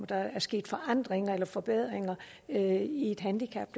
der er sket forandringer eller forbedringer i et handicap